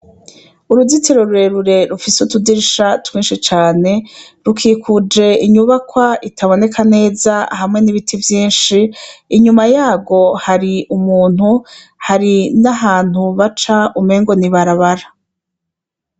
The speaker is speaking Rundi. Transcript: Uruzitiro rurerure rufise utudirisha twinshi cane rukikuje inyubakwa itaboneka neza hamwe n'ibiti vyinshi, inyuma yarwo hari umuntu hari n'ahantu baca umengo n'ibarabara .